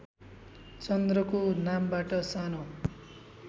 चन्द्रको नामबाट सानो